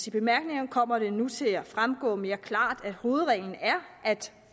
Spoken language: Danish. i bemærkningerne kommer det nu til at fremgå mere klart at hovedreglen er at